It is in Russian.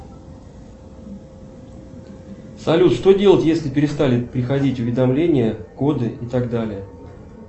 салют что делать если перестали приходить уведомления коды и так далее